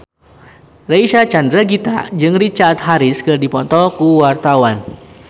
Reysa Chandragitta jeung Richard Harris keur dipoto ku wartawan